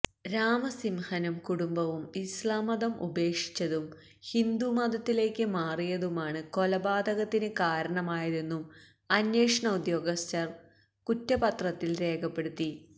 രാമസിംഹനും കുടുംബവും ഇസ്ലാം മതം ഉപേക്ഷിച്ചതും ഹിന്ദുമതത്തിലേക്ക് മാറിയതുമാണ് കൊലപാതകത്തിന് കാരണമായതെന്നും അന്വേഷണ ഉദ്യോഗസ്ഥര് കുറ്റപത്രത്തില് രേഖപ്പെടുത്തി